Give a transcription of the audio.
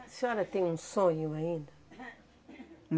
A senhora tem um sonho ainda?